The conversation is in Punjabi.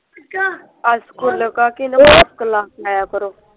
ਅੱਜ ਲਗਾ ਕੇ ਨਾ ਮੇਰੇ ਕੋਲ ਆਇਆ ਕਰੋ